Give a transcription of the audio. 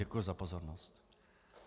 Děkuji za pozornost.